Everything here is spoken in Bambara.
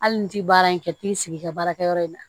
Hali ni ti baara in kɛ t'i sigi i ka baarakɛyɔrɔ in na